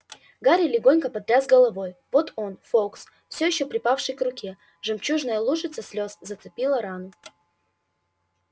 гарри легонько потряс головой вот он фоукс все ещё припавший к руке жемчужная лужица слез зацепила рану